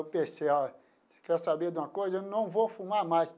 Eu pensei, ah quer saber de uma coisa, eu não vou fumar mais.